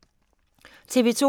TV 2